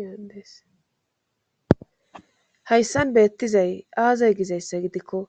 yadeeshayssan beettizay aazay gizayssa gidikko